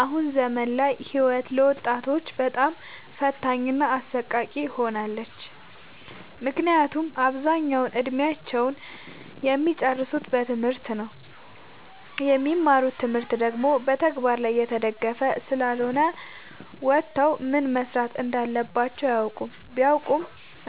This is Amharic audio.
አሁን ዘመን ላይ ህይወት ለወጣቶች በጣም ፈታኝ እና አሰቃቂ ሆናለች። ምክንያቱም አብዛኛውን እድሜአቸውን እሚጨርሱት በትምህርት ነው። የሚማሩት ትምህርት ደግሞ በተግበር ላይ የተደገፈ ስላልሆነ ወተው ምን መስራት እንዳለባቸው አያውቁም። ቢያውቁ